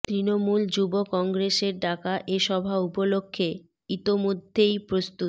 তৃণমূল যুব কংগ্রেসের ডাকা এ সভা উপলক্ষে ইতোমধ্যেই প্রস্তুত